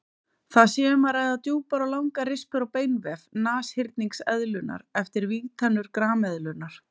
Þar sé um að ræða djúpar og langar rispur á beinvef nashyrningseðlunnar eftir vígtennur grameðlunnar.